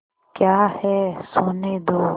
क्या है सोने दो